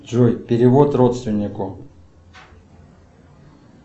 джой перевод родственнику